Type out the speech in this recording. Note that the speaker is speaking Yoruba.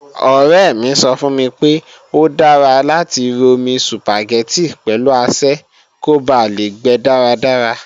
Ọ̀rẹ́ mi sọ fún mi pé, ó dára láti romi Sùpàgẹ́tì pẹ̀lú asẹ́ kó ba lè gbe dáradára